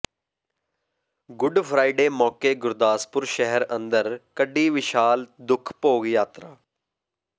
good Friday ਮੌਕੇ ਗੁਰਦਾਸਪੁਰ ਸ਼ਹਿਰ ਅੰਦਰ ਕੱਢੀ ਵਿਸ਼ਾਲ ਦੁੱਖ ਭੋਗ ਯਾਤਰਾ